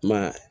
Ma